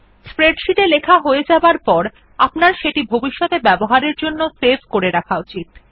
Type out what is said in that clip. spreadsheet এ লেখা হয়ে যাবার পর আপনার সেটি ভবিষতে ব্যবহারের জন্য সেভ ক করে রাখা উচিত